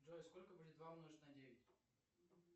джой сколько будет два умножить на девять